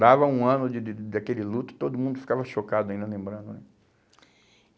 Dava um ano de de daquele luto e todo mundo ficava chocado ainda lembrando né